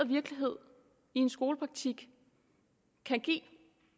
virkelighed i en skolepraktik kan give